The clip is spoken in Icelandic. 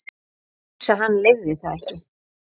Heilsa hans leyfði það ekki.